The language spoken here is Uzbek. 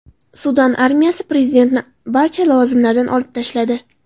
Sudan armiyasi prezidentni barcha lavozimlardan olib tashladi.